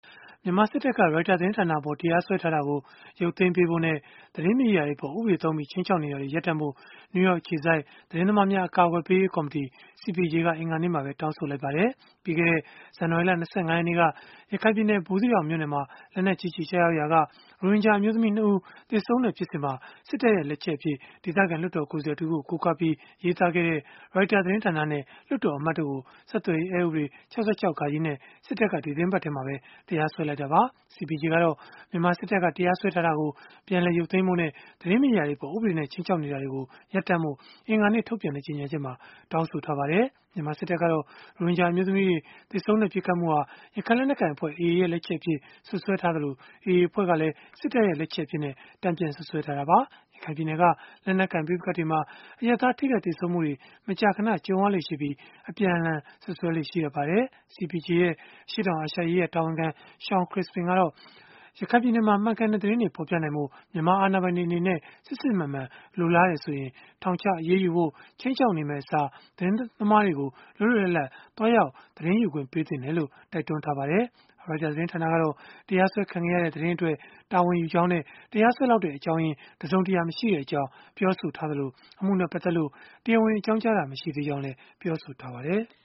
မြန်မာစစ်တပ်က Reuters သတင်းဌာနအပေါ် တရားစွဲထားတာကို ရုပ်သိမ်းပေးဖို့နဲ့ သတင်းမီဒီယာတွေ အပေါ် ဥပဒေသုံးပြီး ခြိမ်းခြောက် နေတာတွေကို ရပ်တန့်ဖို့ နယူးယောက် အခြေစိုက် သတင်းသမားများ အကာအကွယ်ပေးရေး ကော်မတီ (CPJ) က အင်္ဂါနေ့မှာပဲ တောင်းဆိုလိုက်ပါတယ်။ ပြီးခဲ့တဲ့ ဇန်နဝါရီလ ၂၅ ရက်နေ့က ရခိုင်ပြည်နယ် ဘူးသီးတောင်မြို့နယ်မှာ လက်နက်ကြီးကျည် ကျရောက်ရာက ရိုဟင်ဂျာအမျိုးသမီး ၂ ဦး သေဆုံးခဲ့တဲ့ ဖြစ်စဉ်မှာ စစ်တပ်ရဲ့ လက်ချက်အဖြစ် ဒေသခံလွှတ်တော်ကိုယ်စားလှယ် တဦးကို ကိုးကားပြီး ရေးသားခဲ့တဲ့ Reuters သတင်းဌာနနဲ့ လွှတ်တော်အမတ်တို့ကို ဆက်သွယ်ရေးအက်ဥပဒေ ၆၆ (ဃ) နဲ့ စစ်တပ်က ဒီသီတင်းပတ်ထဲမှာပဲ တရားစွဲလိုက်တာပါ။ CPJ ကတော့ မြန်မာစစ်တပ်က တရားစွဲထားတာကို ပြန်လည် ရုပ်သိမ်းဖို့နဲ့ သတင်းမီဒီယာတွေအပေါ် ဥပဒေနဲ့ ခြိမ်းခြောက်နေတာတွေကိုလည်း ရပ်တန့်ဖို့ အင်္ဂါနေ့က ထုတ်ပြန်တဲ့ ကြေညာချက်မှာ တောင်းဆိုထားပါတယ်။ မြန်မာစစ်တပ်ကတော့ ရိုဟင်ဂျာ အမျိုးသမီးတွေ သေဆုံးခဲ့တဲ့ ပစ်ခတ်မှုဟာ ရခိုင်လက်နက်ကိုင်အဖွဲ့ (AA) ရဲ့ လက်ချက်အဖြစ် စွပ်စွဲထားသလို၊ AA အဖွဲ့ကလည်း စစ်တပ်ရဲ့ လက်ချက်အဖြစ်နဲ့ တန်ပြန်စွပ်စွဲထားတာပါ။ ရခိုင်ပြည်နယ်က လက်နက်ကိုင် ပဋိပက္ခတွေမှာ အရပ်သား ထိခိုက်သေဆုံးမှုတွေ မကြာခဏ ကြုံရလေ့ရှိပြီး အပြန်အလှန် စွပ်စွဲလေ့ ရှိတတ်ပါတယ်။ CPJ ရဲ့ အရှေ့တောင်အာရှရေးရာ တာဝန်ခံ Shawn Crispin ကတော့ ရခိုင်ပြည်နယ်မှာ မှန်ကန်တဲ့ သတင်းတွေ ဖော်ပြနိုင်ဖို့ မြန်မာအာဏာပိုင်တွေအနေနဲ့ စစ်စစ်မှန်မှန် လိုလားတယ်ဆိုရင်၊ ထောင်ချအရေးယူဖို့ ခြိမ်းခြောက်နေမယ့်အစား သတင်းသမားတွေကို လွတ်လွတ်လပ်လပ်သွားရောက် သတင်းယူခွင့်ပေးသင့်တယ်လို့လည်း တိုက်တွန်းထားပါတယ်။ Reuters သတင်းဌာနကတော့ တရားစွဲခံခဲ့ရတဲ့ သတင်းအတွက် တာဝန်ယူကြောင်းနဲ့ တရားစွဲလောက်တဲ့ အကြောင်းရင်းတစုံတရာ မရှိကြောင်း ပြောဆိုထားသလို၊ အမှုနဲ့ ပတ်သက်လို့ တရားဝင် အကြောင်းကြားတာ မရှိသေးဘူးလို့လည်း ပြောထားပါတယ်။